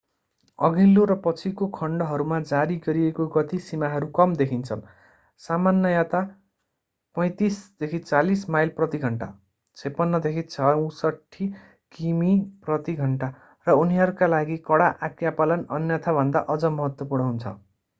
अघिल्लो र पछिको खण्डहरूमा जारी गरिएको गति सीमाहरू कम देखिन्छन् - सामान्यतया 35-40 माइल प्रति घण्टा 56-64 किमी प्रति घण्टा - र उनीहरूका लागि कडा आज्ञापालन अन्यथाभन्दा अझ महत्त्वपूर्ण हुन्छ।